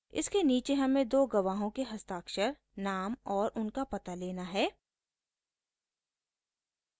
इसके नीचे हमें दो गवाहों के हस्ताक्षर नाम और उनका पता लेना है